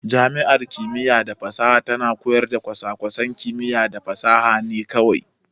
Jami'ar kimiyya da fasaha tana koyar da kwasa-kwasan kimiyya da fasaha ne kawai.